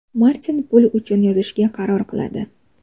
Martin pul uchun yozishga qaror qiladi.